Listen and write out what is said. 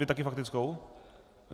Vy taky faktickou?